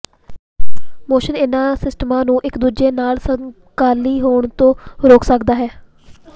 motion ਇਹਨਾਂ ਸਿਸਟਮਾਂ ਨੂੰ ਇੱਕ ਦੂਜੇ ਨਾਲ ਸਮਕਾਲੀ ਹੋਣ ਤੋਂ ਰੋਕ ਸਕਦਾ ਹੈ